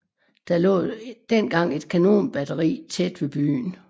Der lå dengang et kanonbatteri tæt ved byen